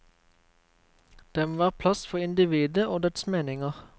Det må være plass for individet og dets meninger.